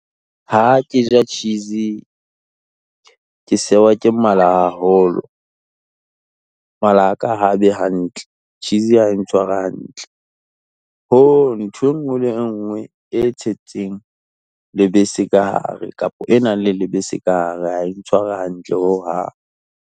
Ha ke ja cheese-y ke sewa ke mala haholo, mala a ka ha a be hantle, cheese-y ha e ntshware hantle. Ntho e nngwe le e nngwe e tshetseng lebese ka hare, kapo e nang le lebese ka hare ha e ntshware hantle hohang.